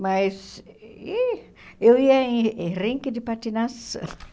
Mas e eu ia em em rinque de patinação.